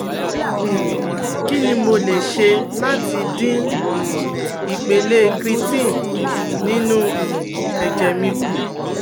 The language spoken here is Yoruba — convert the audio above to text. um Kini mo le ṣe lati din um ipele creatine ninu um ẹjẹ mi ku